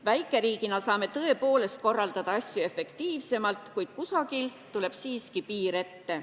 Väikeriigina saame tõepoolest korraldada asju efektiivsemalt, kuid kusagil tuleb siiski piir ette.